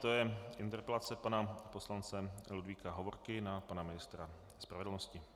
To je interpelace pana poslance Ludvíka Hovorky na pana ministra spravedlnosti.